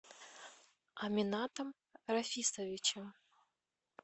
аминатом рафисовичем